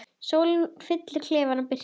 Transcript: Sólin fyllir klefann birtu.